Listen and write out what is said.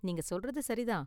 நீங்க சொல்றது சரி தான்.